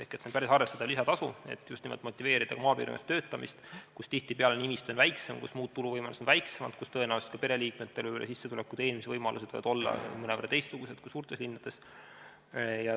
See on päris arvestatav lisatasu, millega motiveerida just nimelt töötamist maapiirkondades, kus tihtipeale on väiksem nimistu ja muud tuluvõimalused on väiksemad ning tõenäoliselt ka pereliikmetel võivad sissetulekud ja teenimisvõimalused olla mõnevõrra teistsugused kui suurtes linnades.